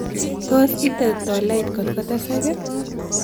Tos' iite tolait kotkotesak ii